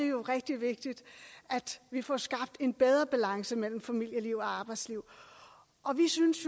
jo rigtig vigtigt at vi får skabt en bedre balance mellem familieliv og arbejdsliv og vi synes